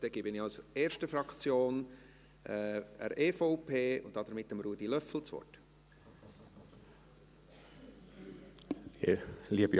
Dann gebe ich das Wort der ersten Fraktion, der EVP, und damit Ruedi Löffel.